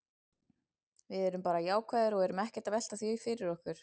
Við erum bara jákvæðir og erum ekkert að velta því fyrir okkur.